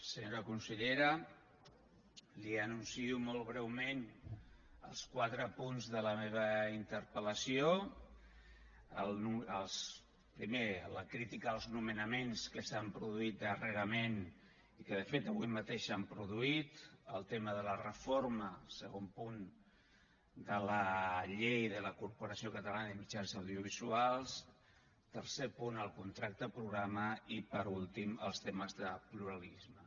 senyora consellera li anuncio molt breument els quatre punts de la meva interpel·lació el primer la crítica als nomenaments que s’han produït darrerament i que de fet avui mateix s’han produït el tema de la reforma segon punt de la llei de la corporació catalana de mitjans audiovisuals tercer punt el contracte programa i per últim els temes de pluralisme